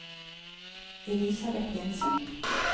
Elisabet Jensen